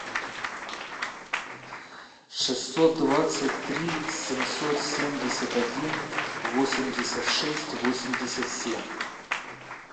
шестьсот двадцать три семьсот семьдесят один восемьдесят шесть восемьдесят семь